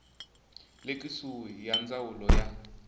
le kusuhi ya ndzawulo ya